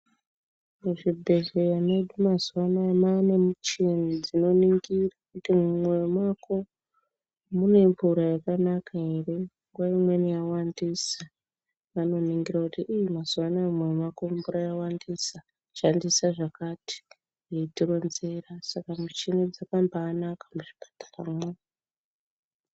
Muzvibhedhleya mefu mazuwa anaya mwaane muchini dzinoningira kuti mumoyo mako mune mvura yakanaka ere nguwa umweni yawandisa vanoningira kuti iii mazuwa anaya Mumwiri mwako mvura yawandisa shandisa zvakati veitironzera saka muchini dzakambaanaka muzvipataramwo.